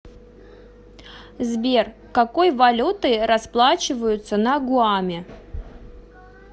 сбер какой валютой расплачиваются на гуаме